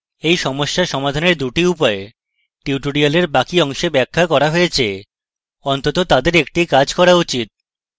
two সমস্যা সমাধানের দুটি উপায় টিউটোরিলের বাকি অংশে ব্যাখ্যা করা হয়েছে অন্তত তাদের একটি কাজ করা উচিত